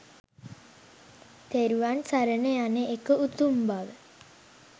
තෙරුවන් සරණ යන එක උතුම් බව